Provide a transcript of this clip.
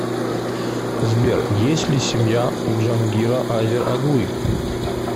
сбер есть ли семья у джангира азер оглы